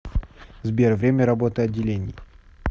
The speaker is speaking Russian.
сбер время работы отделений